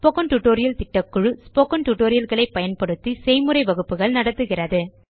spoken tutorial திட்டக்குழு spoken tutorial களை பயன்படுத்தி செய்முறை வகுப்புகள் நடத்துகிறது